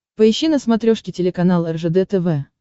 поищи на смотрешке телеканал ржд тв